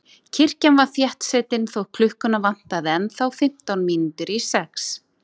Kirkjan var þéttsetin þótt klukkuna vantaði ennþá fimmtán mínútur í sex.